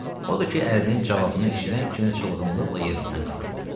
Odur ki, ərdinin cavabını eşidən kimi çılğınlıqla yerindən qalxdı.